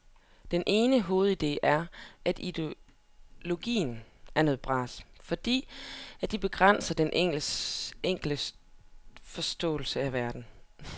Den ene hovedide er, at ideologier er noget bras, fordi de begrænser den enkeltes forståelse af verden.